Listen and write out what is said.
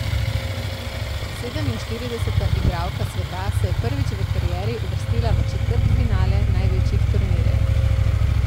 Sedeminštirideseta igralka sveta se je prvič v karieri uvrstila v četrtfinale največjih turnirjev.